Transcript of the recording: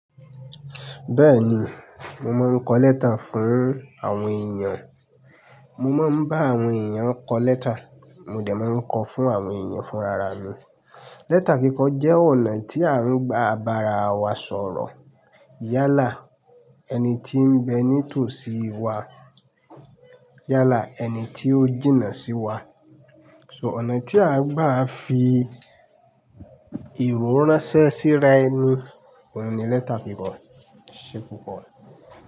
Bẹ́ẹ̀ni, mo máa ń kọ lẹ́tà fún àwọn èèyàn. Mo máa ń bá àwọn èèyàn kọ lẹ́tà, mo dẹ̀ máa ń kọ fún àwọn èèyàn fún rara mi. Lẹ́tà kíkọ jẹ́ ọ̀nà tí à ń gba ba'ra wa sọ̀rọ̀. Yálà ẹni tí ń bẹ ní tòsí wa, yálà ẹni tí ó jìnnà sí wa. So ọ̀nà tí a gbà fi ìwé ránṣẹ́ síra ẹni, òun ni lẹ́tà kíkọ. E Ṣé púpò?